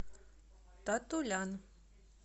татулян